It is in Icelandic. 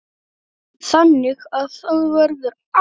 Þannig að það verður alltaf.